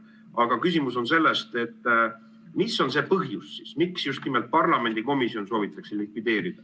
Aga küsimus on selles, mis on see põhjus, miks just nimelt parlamendikomisjon soovitakse likvideerida.